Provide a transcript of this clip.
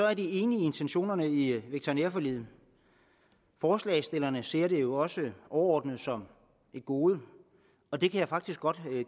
er enige i intentionerne i veterinærforliget forslagsstillerne ser det jo også overordnet som et gode og det kan jeg faktisk godt